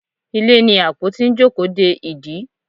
Ilé ní apotí n jókòó dẹ ìdí